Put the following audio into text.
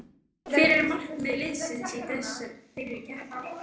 Hver er markmið liðsins í þeirri keppni?